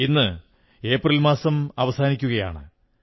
ഇന്ന് ഏപ്രിൽ മാസം അവസാനിക്കയാണ്